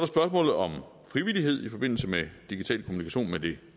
spørgsmålet om frivillighed i forbindelse med digital kommunikation med det